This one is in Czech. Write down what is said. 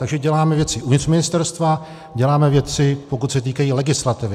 Takže děláme věci uvnitř ministerstva, děláme věci, pokud se týkají legislativy.